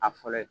A fɔlɔ ye